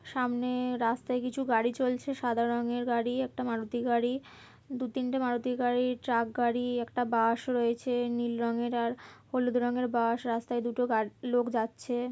সামনে রাস্তায় কিছু গাড়ি চলছে সাদা রঙের গাড়ি একটা মারুতি গাড়ি দু তিনটে মারুতি গাড়ির ট্রাক গাড়ি একটা বাশ -ও রয়েছে নীল রঙের আর হলুদ রঙের বাশ রাস্তায় দুটো গা লোক যাচ্ছে ।